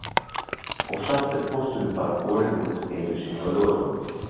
Og samt er pósturinn bara borinn út einu sinni á laugardögum